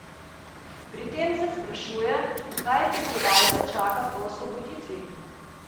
Pri tem se sprašuje, kaj prebivalce čaka po osvoboditvi?